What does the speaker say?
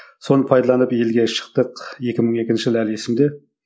соны пайдаланып елге шықтық екі мың екінші жылы әлі есімде